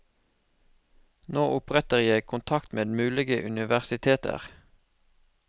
Nå oppretter jeg kontakt med mulige universiteter.